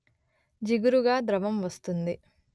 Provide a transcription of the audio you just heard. జిగురుగా ద్రవం వస్తుంది